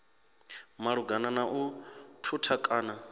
malugana na u thutha kana